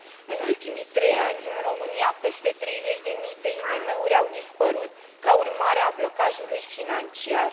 În ultimii trei ani în România peste 30 de mii de IMM uri au dispărut ca urmare a blocajului financiar.